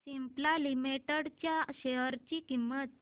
Cipla limited च्या share ची किंमत